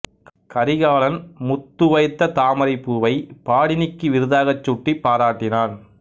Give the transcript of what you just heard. கரிகாலன் முத்து வைத்த தாமரைப் பூவைப் பாடினிக்கு விருதாகச் சூட்டிப் பாராட்டினான்